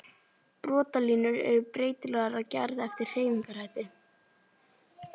Brotalínur eru breytilegar að gerð eftir hreyfingarhætti.